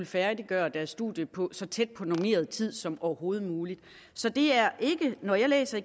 færdiggjort deres studier på så tæt på normeret tid som overhovedet muligt når jeg læser